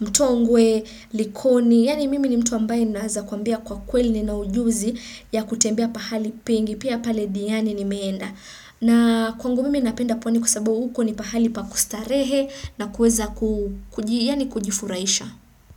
Mtongwe, Likoni, yaani mimi ni mtu ambaye ninaweza kwambia kwa kweli nina ujuzi ya kutembea pahali pengi, pia pale Diani nimeenda. Na kwangu mimi napenda pwani kwa sababu uko ni pahali pa kustarehe na kuweza kujifuraisha.